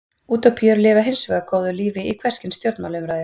Útópíur lifa hins vegar góðu lífi í hvers kyns stjórnmálaumræðu.